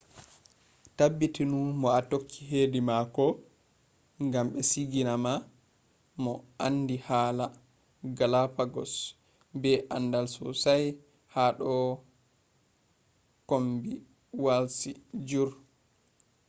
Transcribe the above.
tabbitunu mo a tokki hedi mako ngam be sigina ma mo aandi hala galapagos be aandal sosai ha do kombeewalji jur